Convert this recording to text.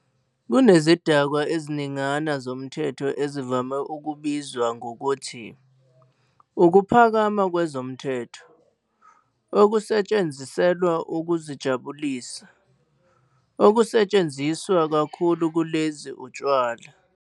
Kunezidakwa eziningana zomthetho ezivame ukubizwa ngokuthi "ukuphakama kwezomthetho" okusetshenziselwa ukuzijabulisa. Okusetshenziswa kakhulu kulezi utshwala.